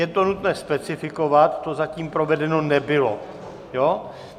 Je to nutné specifikovat, to zatím provedeno nebylo.